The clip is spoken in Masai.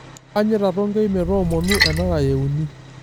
Kaanyita Tonkei metoomonu enara euni.